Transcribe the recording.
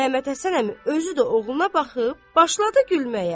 Məmmədhəsən əmi özü də oğluna baxıb, başladı gülməyə.